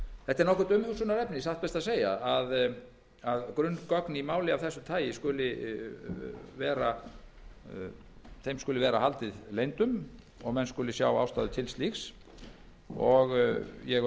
er satt best að segja nokkurt umhugsunarefni að grunngögnum í máli af þessu tagi skuli vera haldið leyndum að menn skuli sjá ástæðu til slíks ég öfunda